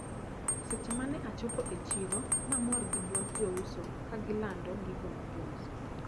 Seche mane achopo e chiro namor gi duond jouso kagilando gigo magiuso.